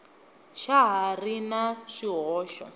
xa ha ri na swihoxo